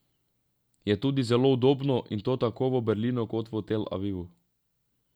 Je tudi zelo udobno, in to tako v Berlinu kot v Tel Avivu.